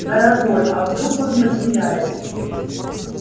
дорогой а вдруг он потеряется